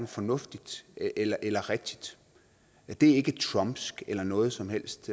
fornuftigt eller rigtigt det er ikke trumpsk eller noget som helst